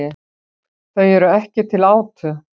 Þau eru ekki til átu.